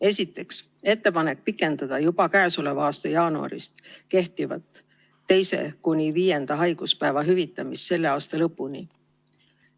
Esiteks, ettepanek pikendada juba käesoleva aasta jaanuarist kehtivat 2.–5. haiguspäeva hüvitamist selle aasta lõpuni.